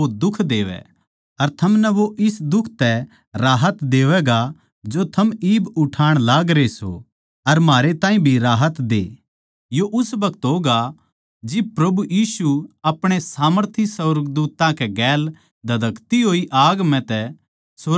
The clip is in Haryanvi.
अर थमनै वो इस दुख तै राहत देवैगा जो थम इब उठाण लागरे सों अर म्हारे ताहीं भी राहत दे यो उस बखत होगा जिब प्रभु यीशु अपणे सामर्थी सुर्गदूत्तां कै गेल धदकती होई आग म्ह सुर्ग तै आवैगा